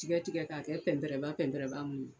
Tigaɛ tigɛ ka kɛ pɛnpɛrɛ pɛnpɛrɛba mun